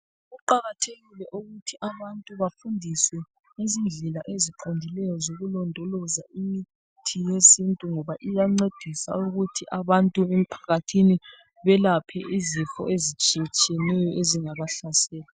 Kuqakathekile ukuthi abantu bafundiswe ngezindlela eziqondileyo zokulondoloza imithi yesintu ngoba iyancedisa ukuthi abantu bemphakathini belaphe izifo ezitshiya tshiyeneyo ezingaba hlasela.